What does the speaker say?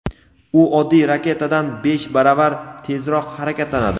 U oddiy raketadan besh baravar tezroq harakatlanadi.